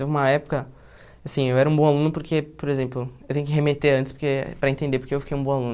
Teve uma época, assim eu era um bom aluno porque, por exemplo, eu tenho que remeter antes porque para entender, porque eu fiquei um bom aluno.